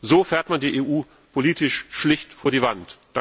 So fährt man die EU politisch schlicht vor die Wand.